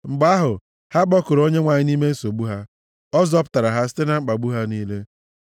Mgbe ahụ, ha kpọkuru Onyenwe anyị nʼime nsogbu ha, ọ zọpụtara ha site na mkpagbu ha niile.